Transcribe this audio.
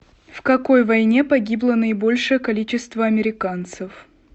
в какой войне погибло наибольшее количество американцев